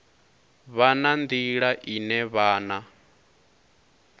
vha na nḓila ine vhana